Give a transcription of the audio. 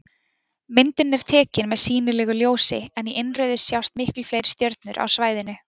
Myndin er tekin með sýnilegu ljósi en í innrauðu sjást miklu fleiri stjörnur á svæðinu.